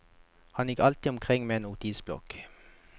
Han går alltid omkring med en notisbok.